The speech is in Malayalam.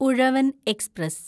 ഉഴവൻ എക്സ്പ്രസ്